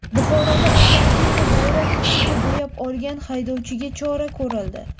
Buxoroda avtomobilni bayroq tusiga bo‘yab olgan haydovchiga chora ko‘rildi.